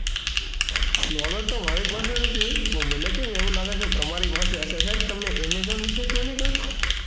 knowledge તો મારી પાસે નથી પણ મને કેમ એવું લાગે છે કે તમારી પાસે હશે સાહેબ તમારી પાસે હશે.